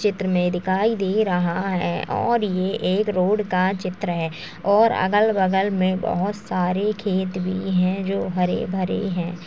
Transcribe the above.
चित्र में दिखाई दे रहा है और ये एक रोड का चित्र है और अगल बगल में बहुत सारे खेत भी है जो हरे भरे हैं।